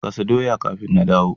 Gasa doya kafin na dawo.